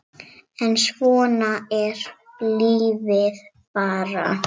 En svona er lífið bara.